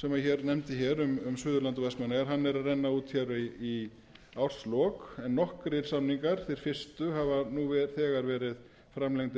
sem hann nefndi um suðurland og vestmannaeyjar er að renna út í árslok en nokkrir samningar þeir fyrstu hafa nú